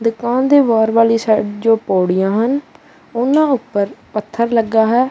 ਦੁਕਾਨ ਦੇ ਬਾਹਰ ਵਾਲੀ ਸਾਈਡ ਜੋ ਪੌੜੀਆਂ ਹਨ ਉਹਨਾਂ ਉਪਰ ਪੱਥਰ ਲੱਗਾ ਹੈ।